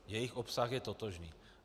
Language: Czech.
Jejich obsah je totožný.